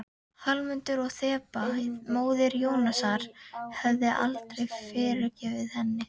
Hallmundur og Þeba, móðir Jónasar, hefðu aldrei fyrirgefið henni.